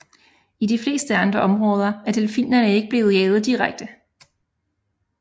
I de fleste andre områder er delfinerne ikke blevet jaget direkte